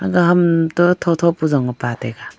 aga ham toh tho tho ku zong e pa taiga.